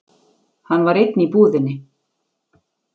Hann var einn í íbúðinni.